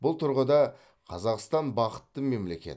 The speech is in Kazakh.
бұл тұрғыда қазақстан бақытты мемлекет